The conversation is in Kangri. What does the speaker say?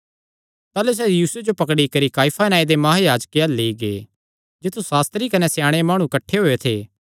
ताह़लू सैह़ यीशुये जो पकड़ी करी काइफा नांऐ दे महायाजके अल्ल लेई गै जित्थु सास्त्री कने स्याणे माणु किठ्ठे होएयो थे